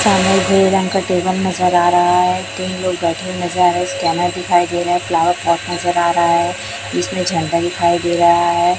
सामने ग्रे रंग का टेबल नज़र आ रहा है तीन लोग बैठे नज़र आ रहे स्कैनर दिखाई दे रहा है फ्लावर पॉट नज़र आ रहा है इसमें झंडा दिखाई दे रहा है।